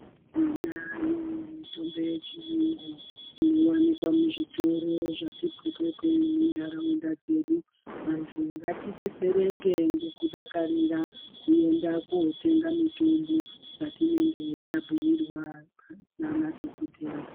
Tinayo mitombo yechiyungu inowanikwa muzvitoro zvati phephe nendaraunda dzedu, vantu ngatidetsereke ngekudakarira kuenda kootenga mitombo dzatinenge tabhuirwa nana dhokodheya.